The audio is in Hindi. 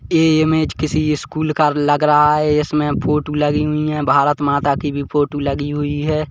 ये इमेज किसी ईस्कूल का लग रहा है इस में फोटू लगी हुई है भारत माता की भी फोटू लगी हुई हैं।